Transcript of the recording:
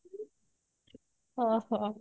ଓଃ ହୋ